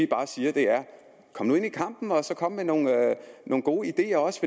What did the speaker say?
bare siger er kom nu ind i kampen og kom med nogle gode ideer også